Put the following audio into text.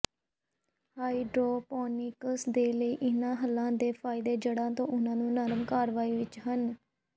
hydroponics ਦੇ ਲਈ ਇਹਨਾਂ ਹੱਲਾਂ ਦੇ ਫਾਇਦੇ ਜੜ੍ਹਾਂ ਤੇ ਉਹਨਾਂ ਦੀ ਨਰਮ ਕਾਰਵਾਈ ਵਿੱਚ ਹਨ